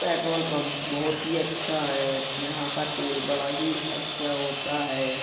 Petrol pump बोहुत ही अच्छा है। यहाँ का तेल बड़ा ही अच्छा होता है।